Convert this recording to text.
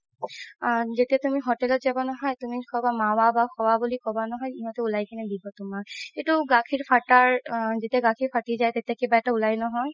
আ যেতিয়া তুমি hotel ত যাবা নহয় তুমি খাবা বুলি ক'বা নহয় সিহতে উলাই কিনে দিব তুমাক এইটো গাখিৰ ফাতাৰ আ যেতিয়া গাখিৰ ফাতি যাই তেতিয়া কিবা এটা উলাই নহয়